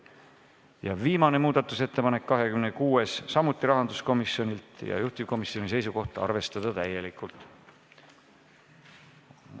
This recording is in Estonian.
Ja viimane, 26. muudatusettepanek, samuti rahanduskomisjonilt ja juhtivkomisjoni seisukoht: arvestada täielikult.